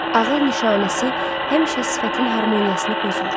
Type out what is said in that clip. Ağıl nişanəsi həmişə sifətin harmoniyasını pozur.